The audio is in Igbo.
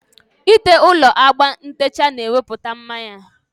Ị te ụlọ agba ntecha na-ewepụta mma ya